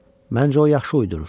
Məncə o yaxşı uydurur.